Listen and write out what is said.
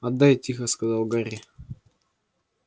отдай тихо сказал гарри